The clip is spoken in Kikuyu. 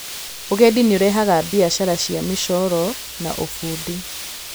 Ũgendi nĩ ũrehaga biacara cia mĩcooro na ũbundi.